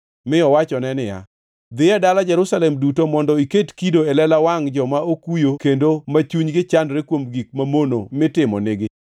mi owachone niya, “Dhi e dala Jerusalem duto mondo iket kido e lela wangʼ joma okuyo kendo ma chunygi chandore kuom gik mamono mitimonigi.”